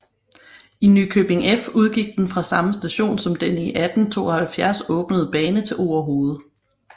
I Nykøbing F udgik den fra samme station som den i 1872 åbnede bane til Orehoved